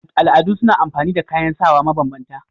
Al'adu suna amfani da kayan sawa ma banbanta